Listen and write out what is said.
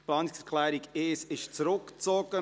Die Planungserklärung 1 wurde zurückgezogen.